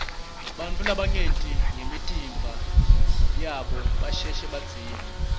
bantfu labangenti lutfo ngemitimba yabo basheshe badzinwe